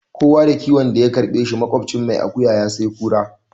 Kowa da kiwon da ya karɓe shi, maƙocin mai akuya ya sai kura.